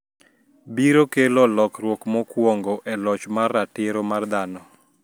biro kelo lokruok mokwongo e loch mar ratiro mar dhano